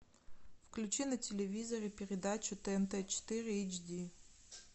включи на телевизоре передачу тнт четыре эйч ди